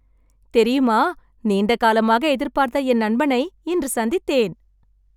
தெரியுமா! நீண்டகாலமாக எதிர்பார்த்த என் நண்பனை இன்று சந்தித்தேன்